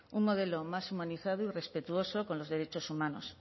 un modelo más humanizado y respetuoso con los derechos humanos